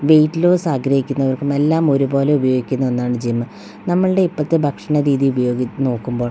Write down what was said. wait loss ആഗ്രഹിക്കുന്നവർക്കും എല്ലാം ഒരുപോലെ ഉപയോഗിക്കുന്ന ഒന്നാണ് ജിം നമ്മൾടെ ഇപ്പഴത്തെ ഭക്ഷണ രീതി ഉപയോ നോക്കുമ്പോൾ--